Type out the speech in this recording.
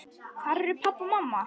Hvar eru pabbi og mamma?